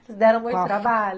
Vocês deram muito trabalho.